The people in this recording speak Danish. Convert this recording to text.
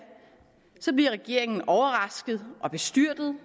bliver regeringen overrasket og bestyrtet